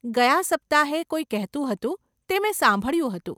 ગયાં સપ્તાહે કોઈ કહેતું હતું, તે મેં સાંભળ્યું હતું.